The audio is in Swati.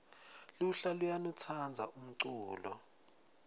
lulha luyainu tsandza umculo